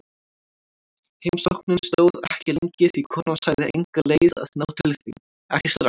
Heimsóknin stóð ekki lengi því konan sagði enga leið að ná til þín, ekki strax.